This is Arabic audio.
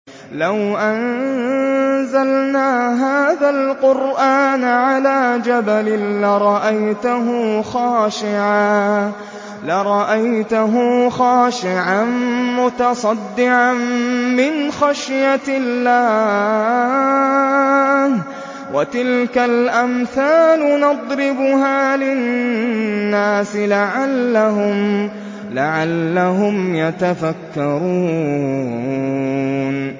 لَوْ أَنزَلْنَا هَٰذَا الْقُرْآنَ عَلَىٰ جَبَلٍ لَّرَأَيْتَهُ خَاشِعًا مُّتَصَدِّعًا مِّنْ خَشْيَةِ اللَّهِ ۚ وَتِلْكَ الْأَمْثَالُ نَضْرِبُهَا لِلنَّاسِ لَعَلَّهُمْ يَتَفَكَّرُونَ